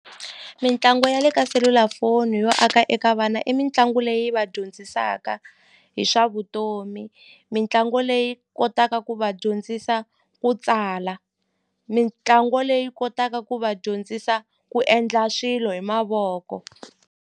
Mitlangu ya le ka selulafoni yo aka eka vana i mitlangu leyi va dyondzisaka hi swa vutomi mitlangu leyi kotaka ku va dyondzisa ku tsala mitlangu leyi kotaka ku va dyondzisa ku endla swilo hi mavoko.